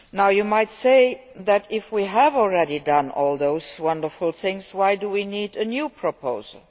You might ask why, if we have already done all those wonderful things, we need a new proposal.